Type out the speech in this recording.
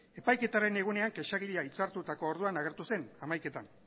epaiketaren egunean kexagilea hitzartutako orduan agertu zen hamaiketan